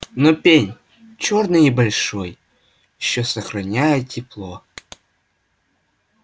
но пень чёрный и большой ещё сохраняет тепло